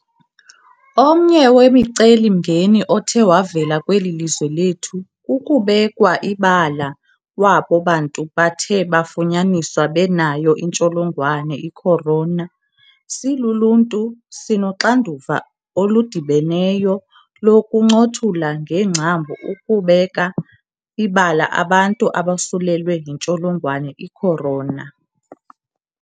Omnye wemicelimngeni othe wavela kweli lizwe lethu kukubekwa ibala kwabo bantu bathe bafunyaniswa benayo intsholongwane i-corona. Siluluntu, sinoxanduva oludibeneyo lokuncothula ngengcambu ukubeka ibala abantu abosulelwe yintsholongwane i-corona.